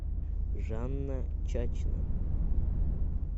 жанна чачина